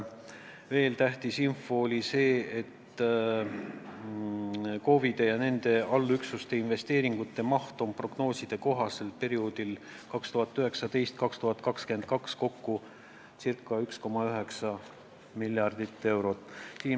Veel oli tähtis info see, et KOV-ide ja nende allüksuste investeeringute maht on prognooside kohaselt perioodil 2019–2022 kokku circa 1,9 miljardit eurot.